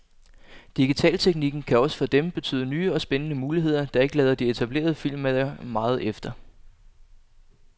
Digitalteknikken kan også for dem betyde nye og spændende muligheder, der ikke lader de etablerede filmmagere meget efter.